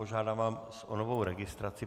Požádám vás o novou registraci.